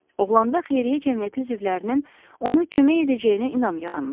Oğlanda Xeyriyyə Cəmiyyəti üzvlərinin ona kömək edəcəyinə inam yaranmışdı.